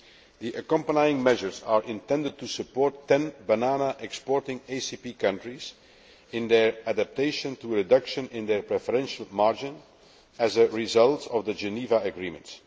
The accompanying measures are intended to support 10 banana exporting ACP countries in their adaptation to a reduction in their preferential margin as a result of the Geneva Agreement.